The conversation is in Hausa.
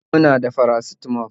E, muna da paracetamol